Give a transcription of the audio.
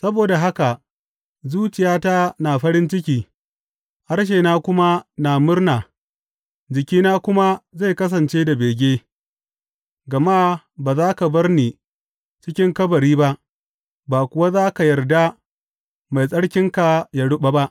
Saboda haka, zuciyata na farin ciki, harshena kuma na murna, jikina kuma zai kasance da bege, gama ba za ka bar ni cikin kabari ba, ba kuwa za ka yarda Mai Tsarkinka yă ruɓa ba.